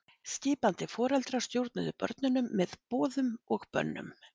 Skipandi foreldrar stjórnuðu börnunum með boðum og bönnum.